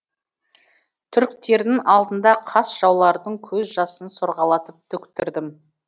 түріктердің алдында қас жаулардың көз жасын сорғалатып төктірдім